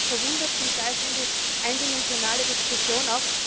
Mich verwundert zum Teil schon die eindimensionale Diskussion.